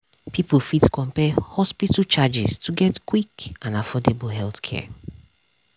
people fit compare hospital charges to get quick and affordable healthcare.